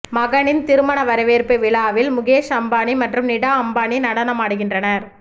மகனின் திருமண வரவேற்பு விழாவில் முகேஷ் அம்பானி மற்றும் நிடா அம்பானி நடனமாடுகின்றனர்